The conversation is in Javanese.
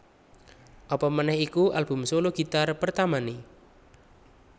Apamaneh iku album solo gitar pertamané